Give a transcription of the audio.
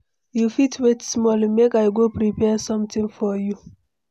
You fit wait small, make I go prepare something for you?